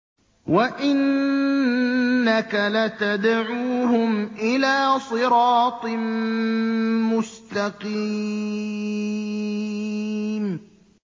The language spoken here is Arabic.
وَإِنَّكَ لَتَدْعُوهُمْ إِلَىٰ صِرَاطٍ مُّسْتَقِيمٍ